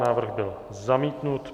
Návrh byl zamítnut.